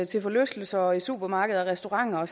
til forlystelser og i supermarkeder og restauranter